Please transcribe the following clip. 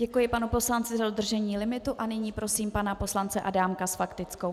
Děkuji panu poslanci za dodržení limitu a nyní prosím pana poslance Adámka s faktickou.